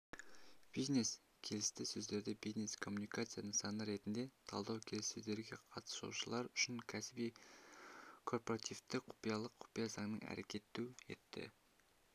бизнес келісі сөздерді бизнес-коммуникация нысаны ретінде талдау келіссөздерге қатысушылар үшін кәсіби-корпоративтік құпиялылық құпия заңының әрекет етуі